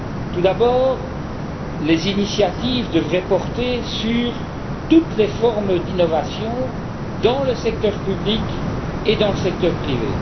Tout d'abord, les initiatives devraient porter sur toutes les formes d'innovation dans le secteur public et dans le secteur privé.